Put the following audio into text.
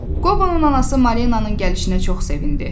Qobonun anası Marinanın gəlişinə çox sevindi.